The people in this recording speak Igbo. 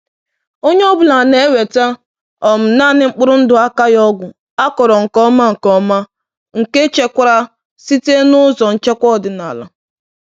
Onye ọ bụla na-eweta um naanị mkpụrụ ndụ akaghị ọgwụ, akọrọ nke ọma, nke ọma, nke echekwara site n’ụzọ nchekwa ọdịnala.